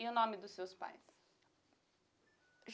E o nome dos seus pais?